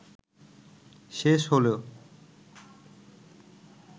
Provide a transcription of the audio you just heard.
শেষ হলে